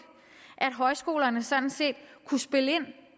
at højskolerne sådan set kunne spille